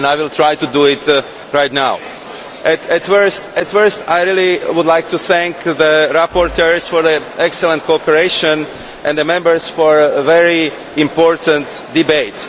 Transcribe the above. I will try to do this now. Firstly, I would like to thank the rapporteurs for their excellent cooperation and the Members for a very important debate.